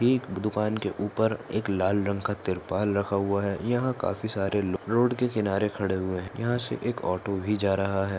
एक दुकान के उपर एक लाल रंग का तिरपाल रखा हुआ है यहा काफी सारे लोग रोड के किनारे खड़े हुए है यहा से एक ऑटो भी जा रहा है।